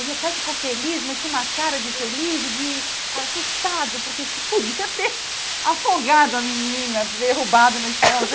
O meu pai ficou feliz, mas tinha uma cara de infeliz e de assustado, porque você podia ter afogado a menina, derrubado no chão,